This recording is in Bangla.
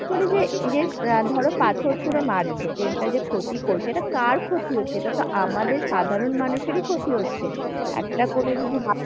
এই যে ধর পাথর ছুড়ে মারছে। train টা যে ক্ষতি করছে। এটা কার ক্ষতি হচ্ছে? সেটা তো আমাদের সাধারণ মানুষেরই ক্ষতি হচ্ছে। একটা কোন কিছু ভালো